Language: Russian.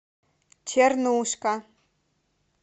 чернушка